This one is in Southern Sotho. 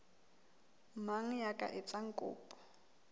mang ya ka etsang kopo